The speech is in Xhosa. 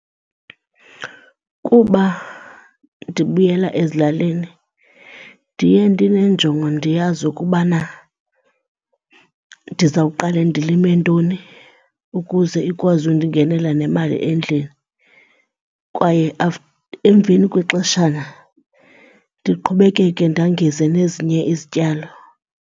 Kuba ndibuyela ezilalini ndiye ndineenjongo ndiyazi ukubana ndizawuqale ndilime ntoni ukuze ikwazi undingenela nemali endlini kwaye emveni kwexeshana ndiqhubekeke ndangeze nezinye izityalo.